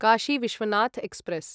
Kashi Vishwanath express